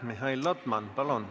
Mihhail Lotman, palun!